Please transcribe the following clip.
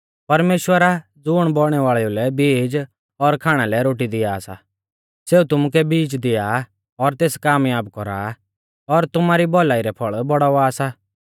परमेश्‍वर आ ज़ुण बौइणै वाल़ेउ लै बीज और खाणा लै रोटी दिआ सा सेऊ तुमुकै बीज दिआ और तेस कामयाब कौरा और तुमारी भौलाई रै फौल़ बौड़ाउवा सा